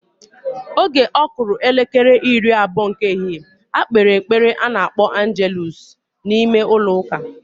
Oge okulu elekere iri-abuo nke ehihe, ha kpere epele anakpo angeluusu na ime-ulo uka.